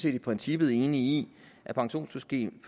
i princippet enige i at pensionssystemet